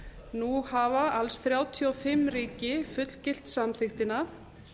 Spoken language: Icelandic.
nú hafa alls þrjátíu og fimm ríki fullgilt samþykktina